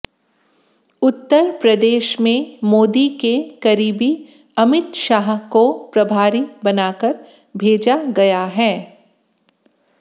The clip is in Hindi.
उत्तर प्रदेश में मोदी के करीबी अमित शाह को प्रभारी बनाकर भेजा गया है